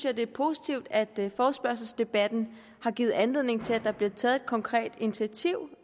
at det er positivt at forespørgselsdebatten har givet anledning til at der bliver taget et konkret initiativ